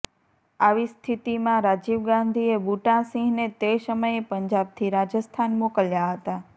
આવી સ્થિતિમાં રાજીવ ગાંધીએ બુટા સિંહને તે સમયે પંજાબથી રાજસ્થાન મોકલ્યા હતા